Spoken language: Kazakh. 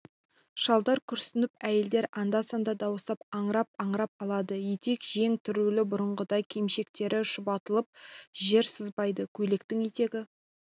шалдар күрсініп әйелдер анда-санда дауыстап аңырап-аңырап алады етек-жең түрулі бұрынғыдай кимешектері шұбатылып жер сызбайды көйлектің етегі